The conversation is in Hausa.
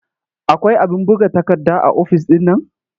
Akwai abin buga takarda a ofis ɗin nan?